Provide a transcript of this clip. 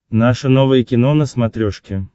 наше новое кино на смотрешке